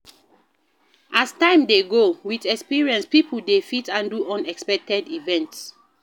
As time dey go, with experience pipo dey fit handle unexpected events